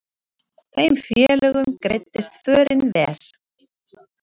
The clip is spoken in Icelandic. Þeim félögum greiddist förin vel.